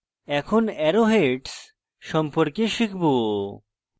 এখন arrow heads সম্পর্কে শিখব